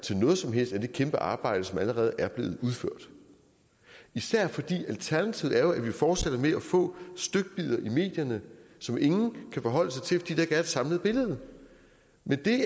til noget som helst af det kæmpearbejde som allerede er blevet udført især fordi alternativet jo er at vi fortsætter med at få stykbidder i medierne som ingen kan forholde sig til fordi der ikke er et samlet billede men